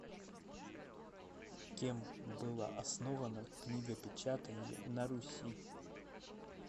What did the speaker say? кем было основано книгопечатание на руси